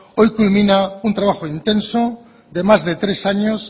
hoy culmina un trabajo intenso de más de tres años